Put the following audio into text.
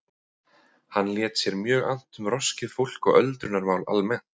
Hann lét sér mjög annt um roskið fólk og öldrunarmál almennt.